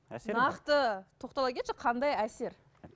нақты тоқтала кетші қандай әсер